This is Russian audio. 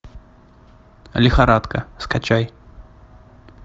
лихорадка скачай